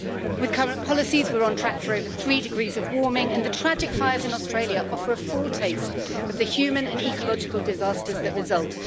With current policies we are on track for over three degrees of warming, and the tragic fires in Australia offer a foretaste of the human and ecological disasters that result.